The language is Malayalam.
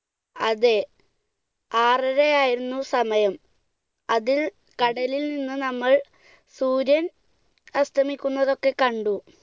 അതെ, ആറര ആയിരുന്നു സമയം, അതിൽ കടലിൽ നിന്ന് നമ്മൾ സൂര്യൻ അസ്തമിക്കുന്നതൊക്കെ കണ്ടു.